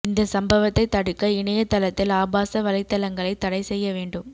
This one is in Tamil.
இந்த சம்பவத்தை தடுக்க இணையதளத்தில் ஆபாச வலைதளங்களை தடை செய்ய வேண்டும்